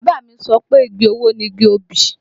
Bàbá mi sọ pé igi owó ni igi obì